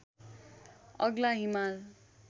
अग्ला हिमाल